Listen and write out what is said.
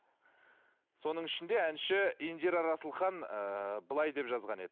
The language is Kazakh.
соның ішінде әнші индира расылхан ыыы былай деп жазған еді